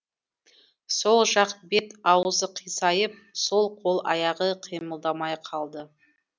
сол жақ бет аузы қисайып сол қол аяғы қимылдамай қалды